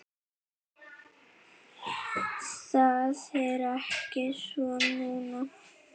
Það er ekki svo núna.